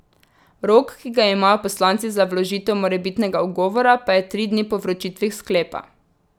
Rok, ki ga imajo poslanci za vložitev morebitnega ugovora, pa je tri dni po vročitvi sklepa.